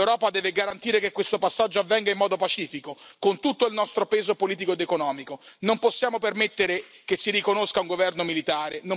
L'Europa deve garantire che questo passaggio avvenga in modo pacifico, con tutto il nostro peso politico ed economico. Non possiamo permettere che si riconosca un governo militare.